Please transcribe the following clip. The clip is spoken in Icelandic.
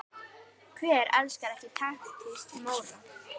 Hver elskar ekki taktíska Móra?